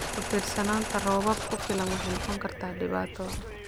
Ku-tiirsanaanta roobab ku filan waxay noqon kartaa dhibaato.